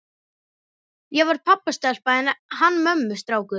Ég var pabbastelpa en hann mömmustrákur.